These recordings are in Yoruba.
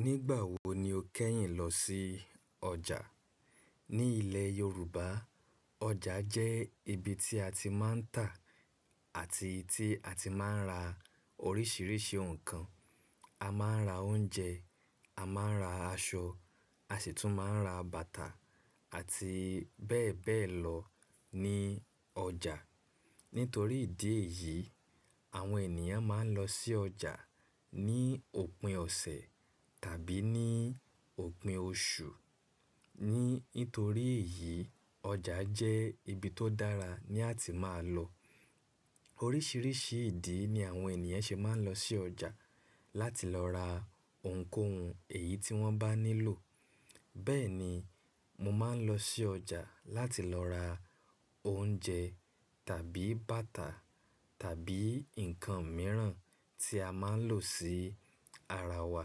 Nígbà wo ni o kẹ́yìn lọ sí ọjà? Ní ilẹ̀ Yorùbá, ọjà jẹ́ ibi tí a ti máa ń tà àti tí a ti máa ń ra oríṣiríṣi nǹkan. A máa ń ra oúnjẹ, a máa ń ra aṣọ, a sì tún máa ń ra bàtà àti bẹ́ẹ̀ bẹ́ẹ̀ lọ ní ọjà. Nítorí ìdí èyí, àwọn ènìyàn máa ń lọ sí ọjà ní òpin ọ̀sẹ̀ tàbí ní òpin oṣù. Nítorí èyí, ọjà jẹ́ ibi tó dára ní àti máa lọ. Oríṣiríṣi ìdí ni àwọn ènìyàn ṣe máa ń lọ sí ọjà láti lọ ra ohunkóhun èyí tí wọ́n bá nílò. Bẹ́ẹ̀ ni, mo máa ń lọ sí ọjà láti lọ ra oúnjẹ tàbí bàtà tàbí nǹkan mìíràn tí a máa ń lò sí ara wa.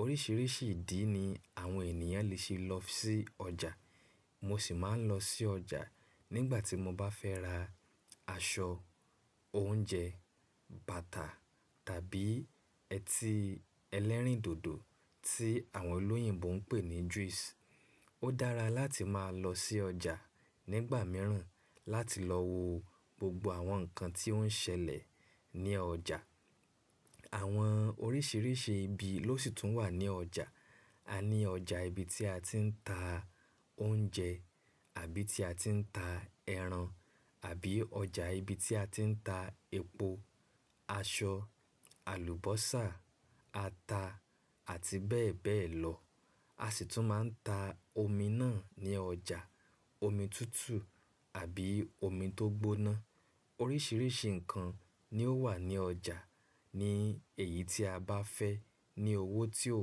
Oríṣiríṣi ìdí ni àwọn ènìyàn le ṣe lọ sí ọjà. Mo sì máa ń lọ sí ọjà nígbà tí mo bá fẹ́ ra aṣọ, oúnjẹ, bàtà tàbí otí ẹlẹ́rìndòdò tí àwọn olóyìnbo ń pè ní juice. Ó dára láti máa lọ sí ọjà nígbà mìíràn láti lọ wo gbogbo àwọn nǹkan tí ó ń ṣẹlẹ̀ ní ọjà. Àwọn oríṣiríṣi ibi ló sì tún wà ní ọjà. A ní ọjà ibi tí a ti ń ta oúnjẹ àbí tí a ti ń ta ẹran, àbí ọjà ibi tí a ti ń ta epo, aṣọ, àlùbọ́sà, ata àti bẹ́ẹ̀ bẹ́ẹ̀ lọ. A sì tún máa ń ta omi náà ní ọjà. Omi tútù àbí omi tó gbóná. Oríṣiríṣi nǹkan ni ó wà ní ọjà ní èyí tí a bá fẹ́ ní owó tí ò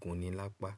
gunni lápá.